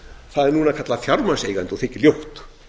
það er núna kallað fjármagnseigandi og þykir ljótt